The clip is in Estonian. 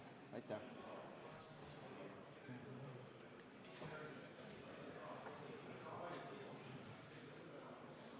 Aitäh!